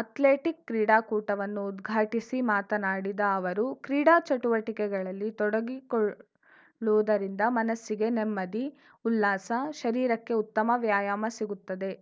athletic ಕ್ರೀಡಾಕೂಟವನ್ನು ಉದ್ಘಾಟಿಸಿ ಮಾತನಾಡಿದ ಅವರು ಕ್ರೀಡಾ ಚಟುವಟಿಕೆಗಳಲ್ಲಿ ತೊಡಗಿಕೊಳ್ಳುವುದರಿಂದ ಮನಸ್ಸಿಗೆ ನೆಮ್ಮದಿ ಉಲ್ಲಾಸ ಶರೀರಕ್ಕೆ ಉತ್ತಮ ವ್ಯಾಯಾಮ ಸಿಗುತ್ತದೆ